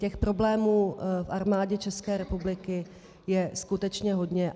Těch problémů v Armádě České republiky je skutečně hodně.